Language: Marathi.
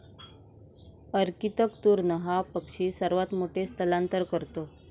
अर्कीतक तूर्ण हा पक्षी सर्वात मोठे स्थलांतर करतो.